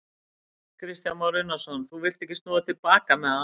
Kristján Már Unnarsson: Þú villt ekki snúa til baka með það?